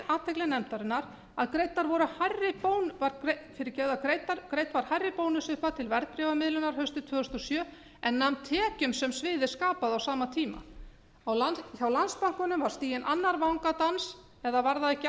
athygli nefndarinnar að greidd var hærri bónusupphæð til verðbréfamiðlunar haustið tvö þúsund og sjö en nam tekjum sem sviðið skapaði á sama tíma hjá landsbankanum var stigin annar vangadans eða var